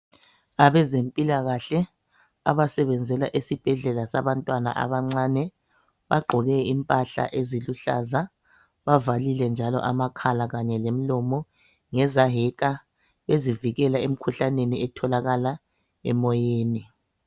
Abezempilakahle abasebenzela esibhedlela sabantwana abancane, bagqoke impahla eziluhlaza, bavalile njalo amakhala kanye lomlomo ngezaheka ezivikela emkhuhlaneni etholakala emoyeni.